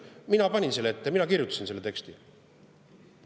Mina panin selle ette, mina kirjutasin selle teksti.